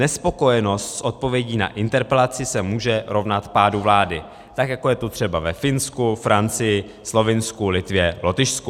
Nespokojenost s odpovědí na interpelaci se může rovnat pádu vlády, tak jako je to třeba ve Finsku, Francii, Slovinsku, Litvě, Lotyšsku.